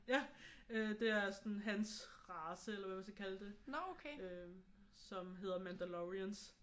Ja øh det er sådan hans race eller hvad man skal kalde det som hedder Mandalorians